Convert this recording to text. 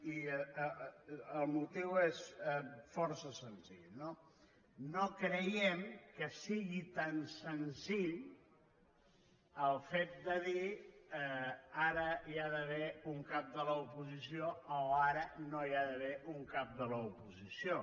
i el motiu és força senzill no no creiem que sigui tan senzill el fet de dir ara hi ha d’haver un cap de l’oposició o ara no hi ha d’haver un cap de l’oposició